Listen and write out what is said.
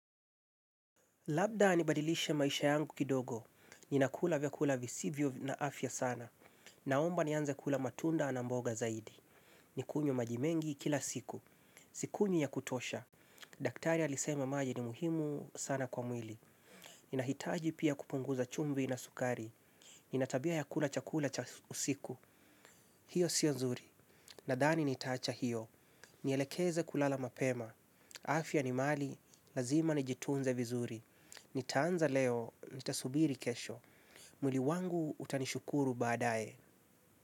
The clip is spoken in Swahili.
Labda nibadilishe maisha yangu kidogo. Ninakula vyakula visivyo na afya sana. Naomba nianze kula matunda na mboga zaidi. Nikunywe maji mengi kila siku. Sikunywi ya kutosha. Daktari alisema maji ni muhimu sana kwa mwili. Ninahitaji pia kupunguza chumvi na sukari. Ninatabia ya kula chakula cha usiku. Hio sio nzuri. Nadhani nitaacha hio. Nielekeze kulala mapema. Afya ni mali. Lazima nijitunze vizuri. Nitaanza leo, nitasubiri kesho. Mwili wangu utanishukuru baadae.